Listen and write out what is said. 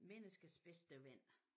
Menneskets bedste ven